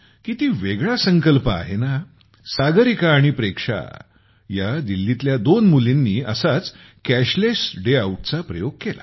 किती वेगळा संकल्प आहे ना हा सागरिका आणि प्रेक्षा या दिल्लीतल्या दोन मुलींनी असाच कॅशलेस डे आऊटचा प्रयोग केला